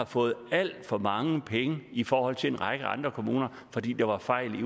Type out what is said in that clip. fået alt for mange penge i forhold til en række andre kommuner fordi der var fejl